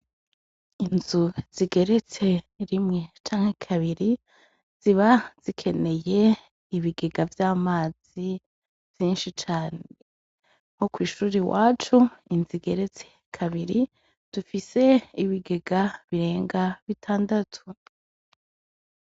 Inzu zigeretse rimwe canke kabiri ziba zikeneye ibigega vy'amazi vyinshi cane, nko kw'ishure iwacu inzu igeretse kabiri dufise ibigega birinze bitandatu.